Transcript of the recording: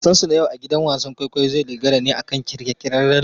Wasansu na yau a gidan wasan kwaikwayo zai dogara ne akan kirkirarren labari.